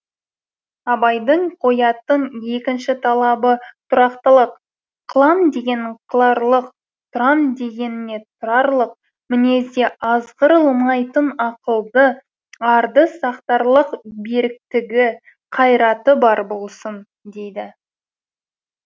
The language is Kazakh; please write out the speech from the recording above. абайдың қоятын екінші талабы тұрақтылық қылам дегенін қыларлық тұрам дегеніне тұрарлық мінезде азғырылмайтын ақылды арды сақтарлық беріктігі қайраты бар болсын дейді